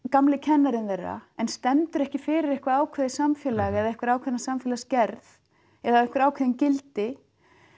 gamli kennarinn þeirra en stendur ekki fyrir eitthvað ákveðið samfélag eða ákveðna samfélagsgerð eða ákveðin gildi